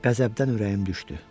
Qəzəbdən ürəyim düşdü.